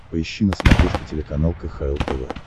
поищи на смотрешке телеканал кхл тв